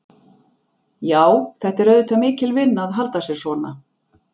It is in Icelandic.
Já, þetta er auðvitað mikil vinna að halda sér svona.